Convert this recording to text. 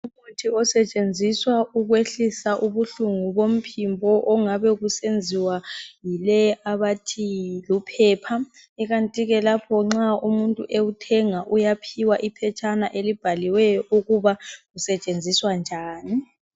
Umuthi osetshenziswa ukwehlisa ubuhlungu bomphimbo ongabe kusenziwa yileyi abathi yiluphepha ikanti ke lapho nxa umuntu ewuthenga uyaphiwa iphetshana elibhaliweyo ukuba usetshenziswa njani